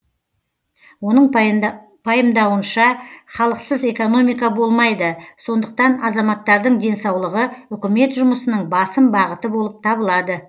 оның пайымдауынша халықсыз экономика болмайды сондықтан азаматтардың денсаулығы үкімет жұмысының басым бағыты болып табылады